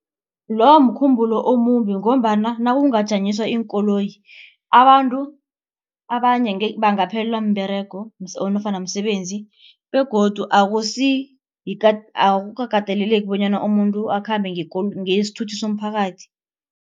Loyo mkhumbulo omumbi ngombana nakungajanyiswa iinkoloyi. Abantu abanye bangaphelelwa mberego nofana msebenzi begodu akukakateleleki bonyana umuntu akhambe ngesithuthi somphakathi.